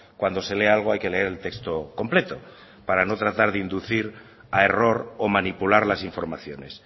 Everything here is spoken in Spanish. cuando se lee algo hay que leer el texto completo para no tratar de inducir a error o manipular las informaciones